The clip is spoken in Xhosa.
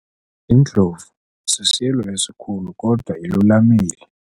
Indlovu sisilo esikhulu kodwa ilulamile.